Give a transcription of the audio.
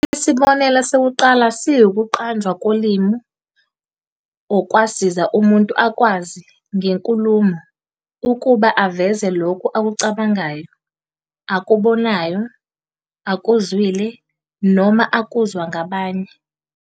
Isibonelo sokuqala siwukuqanjwa kolimi, okwasiza umuntu akwazi, ngenkulumo, ukuba aveze lokho akucabangayo, akubonayo, akuzwile, noma akuzwa ngabanye.